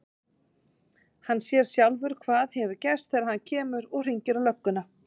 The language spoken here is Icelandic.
Hann sér sjálfur hvað hefur gerst þegar hann kemur. og hringir á lögguna.